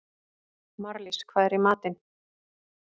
Marlís, hvað er í matinn?